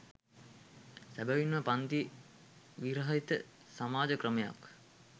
සැබවින්ම පංති විරහිත සමාජ ක්‍රමයක්